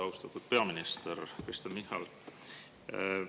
Austatud peaminister Kristen Michal!